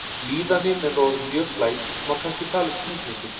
þegar líðanin er orðin mjög slæm má kannski tala um þunglyndi